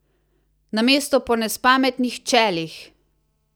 Namesto po nespametnih čelih!